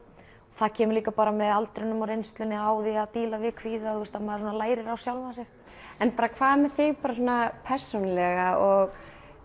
það kemur líka með aldrinum og reynslunni á því að díla við kvíða að maður lærir á sjálfan sig hvað með þig persónulega og